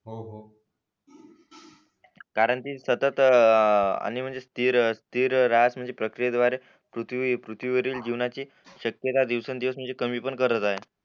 कारण कि सतत आणि म्हणजे स्थिर राहत म्हणजे प्रक्रिये द्वारे पृथ्वी पृथ्वी वरील जीवनाची शक्यता दिवसोंन दिवस म्हणजे कमी पण करत आहे